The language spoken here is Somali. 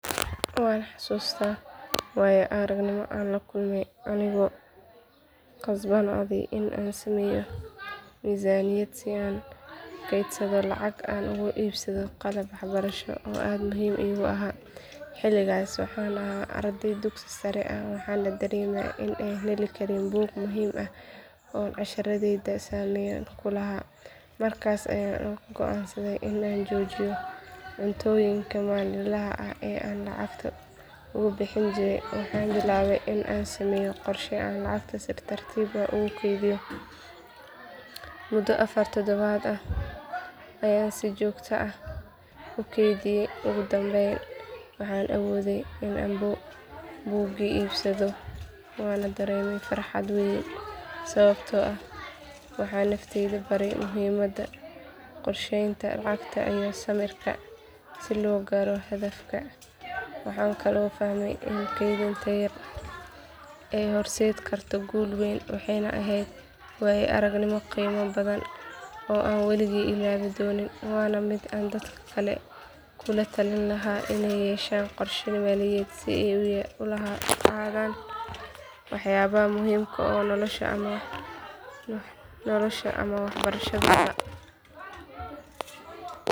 Waan xasuustaa waayo aragnimo aan la kulmay anigoo ku qasbanaaday in aan sameeyo miisaaniyad si aan u kaydsado lacag aan ugu iibsado qalab waxbarasho oo aad muhiim iigu ahaa xilligaas waxaan ahaa arday dugsiga sare ah waxaana dareemay in aanan heli karin buug muhiim ah oo casharadayda saameyn ku lahaa markaas ayaan go’aansaday in aan joojiyo cunnooyinka maalinlaha ah ee aan lacagta ugu bixin jiray waxaan bilaabay in aan sameeyo qorshe aan lacagta si tartiib ah ugu kaydiyo muddo afar toddobaad ah ayaan si joogto ah u kaydiyay ugu dambeyn waxaan awooday in aan buugii iibsado waana dareemay farxad weyn sababtoo ah waxaan naftayda baray muhiimadda qorsheynta lacagta iyo samirka si loo gaaro hadafka waxaan kaloo fahmay in kaydinta yar ay horseedi karto guul weyn waxay ahayd waayo aragnimo qiimo badan oo aan weligay illoobi doonin waana mid aan dadka kale kula talin lahaa inay yeeshaan qorshe maaliyadeed si ay u hantaan waxyaabaha muhiimka u ah noloshooda ama waxbarashadooda